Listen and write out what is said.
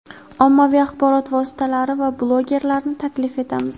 ommaviy axborot vositalari va blogerlarni taklif etamiz.